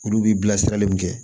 Olu bi bila sira min kɛ